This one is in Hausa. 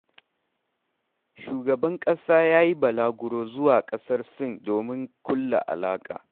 Shugaban ƙasa ya yi balaguro zuwa ƙasar Sin domin ƙulla alaƙa.